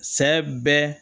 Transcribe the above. Sɛ bɛ